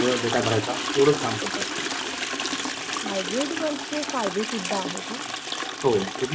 पण आता ही तात्पुरती ची होत नसून तर ही मुक्कामा ची hybrid work होऊन बसली